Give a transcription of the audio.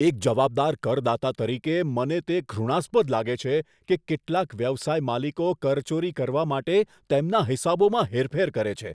એક જવાબદાર કરદાતા તરીકે, મને તે ઘૃણાસ્પદ લાગે છે કે કેટલાક વ્યવસાય માલિકો કરચોરી કરવા માટે તેમના હિસાબોમાં હેરફેર કરે છે.